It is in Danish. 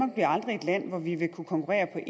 konkurrere